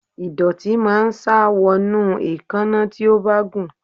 Ìdọ̀tí máa ń sá wọnú èékánná tí ó bá gùn.